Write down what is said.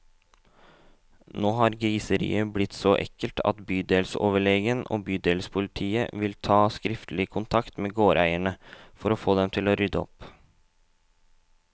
Nå har griseriet blitt så ekkelt at bydelsoverlegen og bydelspolitiet vil ta skriftlig kontakt med gårdeierne, for å få dem til å rydde opp.